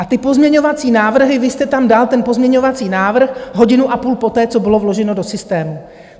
A ty pozměňovací návrhy - vy jste tam dal ten pozměňovací návrh hodinu a půl poté, co bylo vloženo do systému.